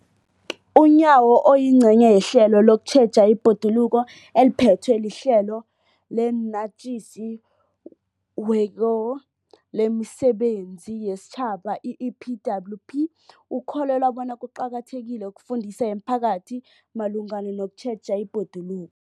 UNyawo, oyingcenye yehlelo lokutjheja ibhoduluko eliphethwe liHlelo eliNatjisi weko lemiSebenzi yesiTjhaba, i-EPWP, ukholelwa bona kuqakathekile ukufundisa imiphakathi malungana nokutjheja ibhoduluko.